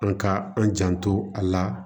An ka an janto a la